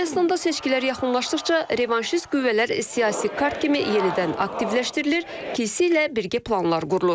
Ermənistanda seçkilər yaxınlaşdıqca revanşist qüvvələr siyasi kart kimi yenidən aktivləşdirilir, kilsə ilə birgə planlar qurulur.